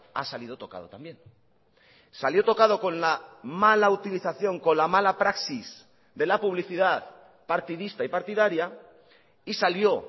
ha salido tocado también salió tocado con la mala utilización con la mala praxis de la publicidad partidista y partidaria y salió